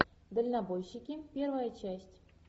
дальнобойщики первая часть